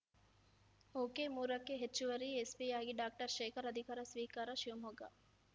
okay ಮೂರು ಕ್ಕೆಹೆಚ್ಚುವರಿ ಎಸ್‌ಪಿಯಾಗಿ ಡಾಕ್ಟರ್ ಶೇಖರ್‌ ಅಧಿಕಾರ ಸ್ವೀಕಾರ ಶಿವಮೊಗ್ಗ